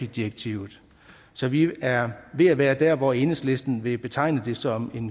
direktivet så vi er ved at være der hvor enhedslisten vil betegne det som